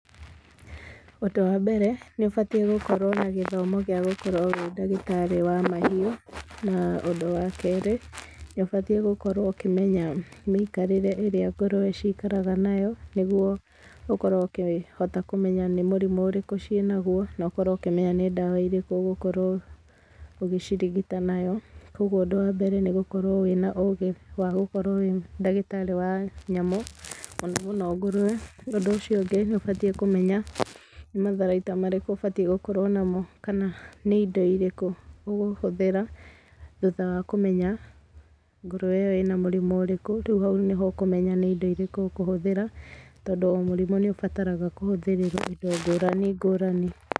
Ũndũ wa mbere nĩ ũbatĩe gũkorwo na gĩthomo gĩa gũkorwo ũrĩ ndagĩtarĩ wa mahiũ na ũndũ wa kerĩ nĩ ũbatĩe gũkorwo ũkĩmenya mĩikarĩre ĩrĩa ngũrũwe cikaraga nayo nĩgũo ũkorwo ũkĩhota kũmenya nĩ mũrimũ ũrĩkũ ciĩ naguo na ũkorwo ũkĩmenya nĩ ndawa irĩkũ ũgũkorwo ũgĩcirigita nayo kwa ũguo ũndũ wa mbere nĩgũkorwo wĩna ũgĩ wa gũkorwo wĩ ndagĩtarĩ wa nyamũ mũno mũno ngũrũwe ũndũ ũcio ũngĩ nĩũbatĩe kũmenya nĩ matharaita marĩkũ ũbatĩe gũkorwo namo kana nĩ indo ĩrĩkũ ũgũhũthĩra thutha wa kũmenya ngũrũwe ĩyo ĩna mũrimũ ũrĩkũ rĩu haũ nĩho ũkũmenya nĩ indo irĩkũ ukũhũthĩra tondũ mũrimũ nĩũbataraga kũhũthĩrĩrwo indo ngũrani ngũrani.